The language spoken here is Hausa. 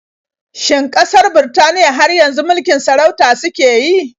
Shin ƙasar Birtaniya har yanzu mulikin sarauta suke yi?